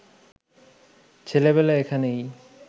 ছেলেবেলায় এখানেই